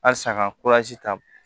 Asa ka ta